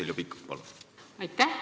Heljo Pikhof, palun!